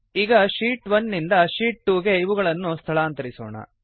ಈಗ ಶೀಟ್ 1 ರಿಂದ ಶೀಟ್ 2 ಗೆ ಇವುಗಳನ್ನು ಸ್ಥಳಾಂತರಿಸೋಣ